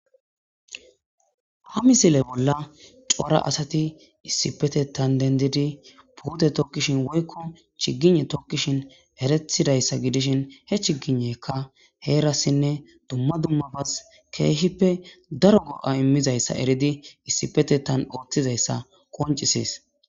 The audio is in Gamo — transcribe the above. Ha misile bolla cora asati issippetetan dendidi puute tokishin woyko chigygne tokishin eretidayssa gidishin he chigigneyka heerasinne dumma dummabas keehippe daro go'a imizayssa eridi issipetetan oothizayssa qonccises.